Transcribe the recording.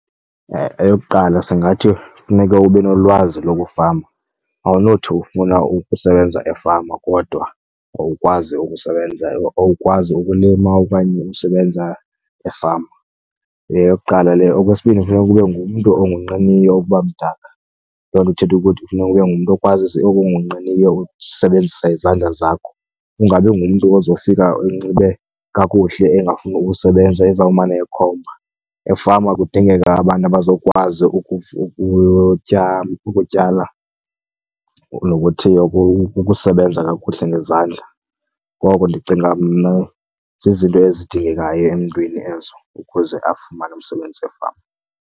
Eyokuqala singathi funeka ube nolwazi lokufama, awunothi ufuna ukusebenza efama kodwa awukwazi ukusebenza, awukwazi ukulima okanye usebenza efama, yeyokuqala leyo. Okwesibini, funeka ube ngumntu ongonqeniyo ukuba mdaka. Loo nto ithetha ukuthi kufuneka ube ngumntu okwazi, ongonqeniyo usebenzisa izandla zakho. Ungabi ngumntu ozofika enxibe kakuhle engafuni ukusebenza ezawumane ekhomba. Efama kudingeka abantu abazokwazi ukutyala nokusebenza kakuhle ngezandla. Ngoko ndicinga mna zizinto ezidingekayo emntwini ezo ukuze afumane umsebenzi efama.